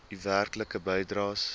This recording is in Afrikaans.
u werklike bydraes